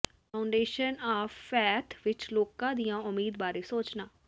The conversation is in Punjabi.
ਫਾਊਡੇਸ਼ਨ ਆਫ ਫੈਥ ਵਿਚ ਲੋਕਾਂ ਦੀ ਉਮੀਦ ਬਾਰੇ ਸੋਚਣਾ